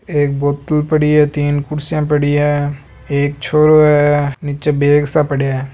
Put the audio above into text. एक बोतल पड़ी है तीन कुर्सिया पड़ी है एक छोरो है नीचे बेग सा पड्या है।